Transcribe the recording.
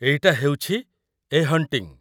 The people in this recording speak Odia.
ଏଇଟା ହେଉଛି 'ଏ ହଣ୍ଟିଙ୍ଗ୍'।